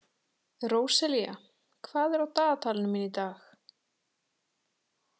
Róselía, hvað er á dagatalinu mínu í dag?